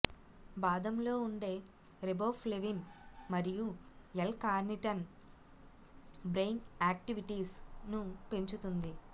బాదంలో ఉండే రెబోఫ్లెవిన్ మరియు L carnitine brain activities ను పెంచుతుంది